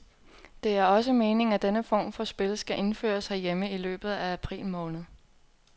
Det er også meningen at denne form for spil skal indføres herhjemme i løbet af april måned.